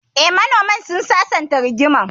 Eh, manoman sun sasanta rigimar